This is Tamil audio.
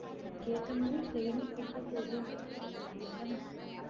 அதுக்கு ஏத்தமாறி training குடுத்த போதும் அப்படின்னு தான் நெனைக்கறேன்